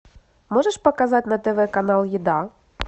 можешь показать на тв канал еда